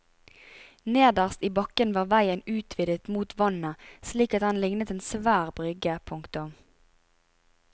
Nederst i bakken var veien utvidet mot vannet slik at den lignet en svær brygge. punktum